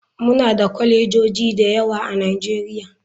Muna da kwalejoji da yawa a nigeria.